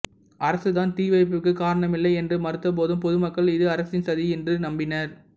அரசு தான் தீ வைப்புக்கு காரணமில்லை என்று மறுத்த போதும் பொதுமக்கள் இது அரசின் சதி என்று நம்பினர்